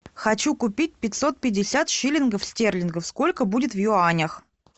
хочу купить пятьсот пятьдесят шиллингов стерлингов сколько будет в юанях